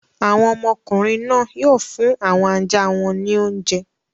Àwọn ọmọkùnrin náà yóò fún àwọn ajá wọn ní oúnjẹ.